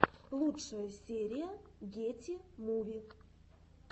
лучшая серия гети муви